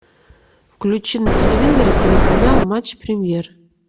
включи на телевизоре телеканал матч премьер